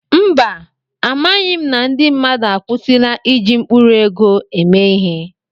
Mba, amaghị m na ndị mmadụ akwụsịla iji mkpụrụ ego eme ihe.